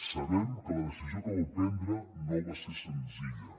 sabem que la decisió que vau prendre no va ser senzilla